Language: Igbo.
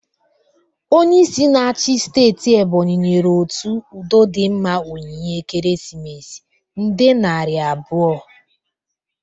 Onyeisi na-achi steeti Ebonyi nyere otu udodịmma onyinye ekeresimesi nde nari abụo.